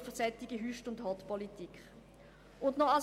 Eine solche Hott- und Hüstpolitik bringt nichts.